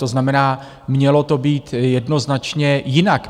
To znamená, mělo to být jednoznačně jinak.